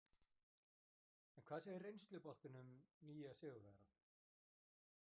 En hvað segir reynsluboltinn um nýja sigurvegarann?